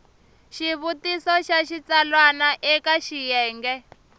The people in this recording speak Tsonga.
xivutiso xa xitsalwana eka xiyenge